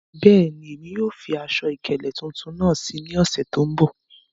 Bẹ́ẹ̀ni, emi yóò fi aṣọ-ikele tuntun naá sí ní òṣè tó nbọ̀.